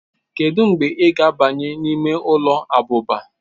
kedu mgbe ị ga-abanye n'ime ụlọ abụba